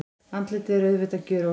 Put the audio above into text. Andlitið er auðvitað gjörólíkt.